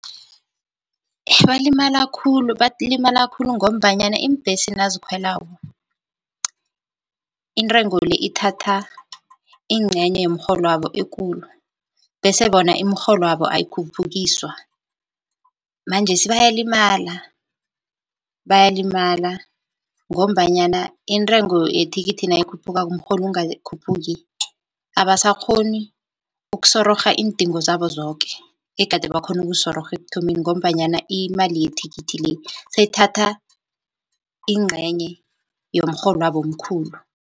Balimala khulu, balimala khulu ngombanyana iimbhesi nazikhwelako intengo le ithatha incenye yemrholo wabo ekulu, bese bona imirholwabo ayikhuphukiswa manjesi bayalimala, bayalimala. Ngombanyana intengo yethikithi nayikhuphukako umrholo ungakhuphuki abasakghoni ukusororha iindingo zabo zoke egade bakhona ukuzisororha ekuthomeni, ngombanyana imali yethikithi le seyithatha incenye yomrholo wabo omkhulu.